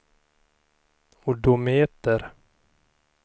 odometer